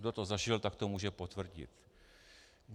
Kdo to zažil, tak to může potvrdit.